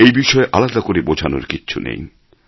এই বিষয়ে আলাদা করে বোঝানোর কিছু নেই